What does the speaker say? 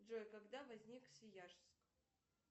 джой когда возник свияжск